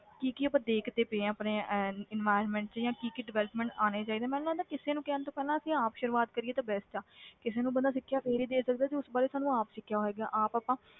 ਕੀ ਕੀ ਆਪਾਂ ਦੇਖਦੇ ਪਏ ਹਾਂ ਆਪਣੇ ਅਹ environment 'ਚ ਜਾਂ ਕੀ ਕੀ development ਆਉਣੇ ਚਾਹੀਦੇ, ਮੈਨੂੰ ਲੱਗਦਾ ਕਿਸੇ ਨੂੰ ਕਹਿਣ ਤੋਂ ਪਹਿਲਾਂ ਅਸੀਂ ਆਪ ਸ਼ੁਰੂਆਤ ਕਰੀਏ ਤਾਂ best ਆ ਕਿਸੇ ਨੂੰ ਬੰਦਾ ਸਿੱਖਿਆ ਫਿਰ ਹੀ ਦੇ ਸਕਦਾ ਜੇ ਉਸ ਬਾਰੇ ਸਾਨੂੰ ਆਪ ਸਿੱਖਿਆ ਹੋਏਗਾ ਆਪ ਆਪਾਂ,